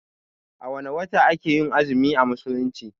A wanne wata ake yin azumi a musulunci?